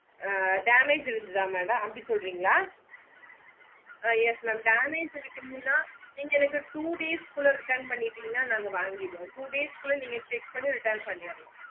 ஆஹ் damage இருந்துது madam அப்டி சொல்றிங்களா ஆஹ் yes mam damage இறுகுங்கான நீங்க two days குள்ள retun பண்ணிட்டிங்கனா நாங்க வாங்கிடுவோம் two days குள்ள நீங்க check பண்ணி retun பன்னிரனோம்